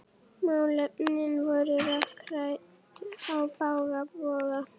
Málefnin voru rökrædd á bága bóga.